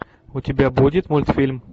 у тебя будет мультфильм